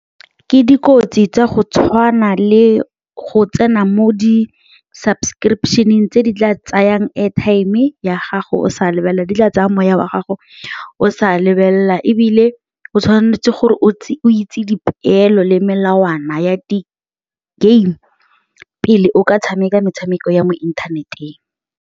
Ke dikotsi tsa go tshwana le go tsena mo di-subscription-eng tse di tla tsayang airtime ya gago o sa lebelela di tla tsaya moya wa gago o sa lebelela ebile o tshwanetse gore o itse dipeelo le melawana ya di-game pele o ka tshameka metshameko ya mo inthaneteng.